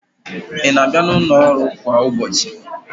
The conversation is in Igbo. Ị na-abịa n'ụlọ ọrụ a kwa ụbọchị?